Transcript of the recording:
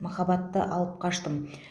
махаббаты алып қаштым